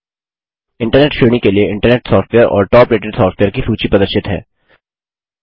internet श्रेणी के लिए इंटरनेट सॉफ्टवेयर और टॉप रेटेड सॉफ्टवेयर की सूची प्रदर्शित है